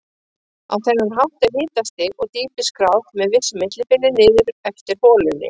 Á þennan hátt er hitastig og dýpi skráð með vissu millibili niður eftir holunni.